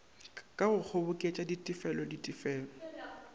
ka go kgoboketša ditefelo ditefelo